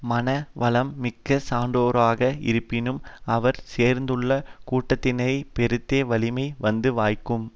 மனவளம் மிக்க சான்றோராக இருப்பினும் அவர் சேர்ந்துள்ள கூட்டத்தினரைப் பொருத்தே வலிமை வந்து வாய்க்கும்